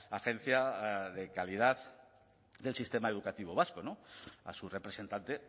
agencia de calidad del sistema educativo vasco a su representante